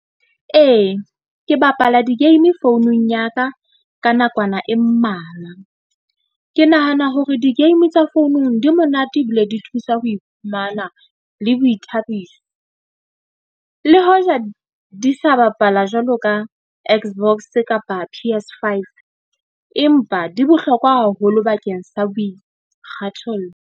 Ee, ke bapala di-game founung ya ka ka nakwana e mmalwa. Ke nahana hore di-game tsa founung di monate. Ebile di thusa ho iphumana le boithabiso, le hoja di sa bapala jwalo ka X_box kapa P_S5, empa di bohlokwa haholo bakeng sa boikgathollo.